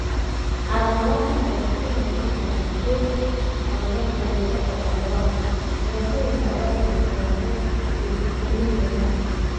Calaamadaha kale waxaa ka mid noqon kara ku-tuur; khaladaadka luqadda ama dhawaaqa (dhibaatooyinka abaabulka dhawaaqyada); iyo feejignaan yaraan.